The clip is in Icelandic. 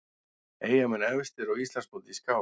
Eyjamenn efstir á Íslandsmóti í skák